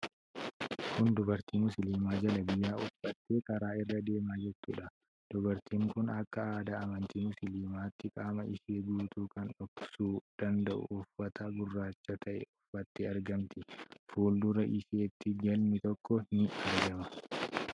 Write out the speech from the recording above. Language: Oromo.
Kun dubartii musliimaa jalabiyaa uffattee karaa irra deemaa jirtuudha. Dubartiin kun akka aadaa amantii musliimaatti qaama ishee guutuu kan dhoksuu danda'u uffata gurraacha ta'e uffattee argamti. Fuuldura isheetti galmi tokko ni argama.